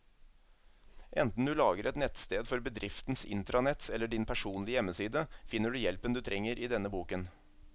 Enten du lager et nettsted for bedriftens intranett eller din personlige hjemmeside, finner du hjelpen du trenger i denne boken.